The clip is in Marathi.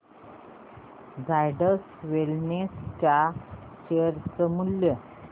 झायडस वेलनेस च्या शेअर चे मूल्य